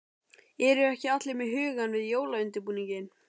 Eru ekki allir með hugann við jólaundirbúninginn?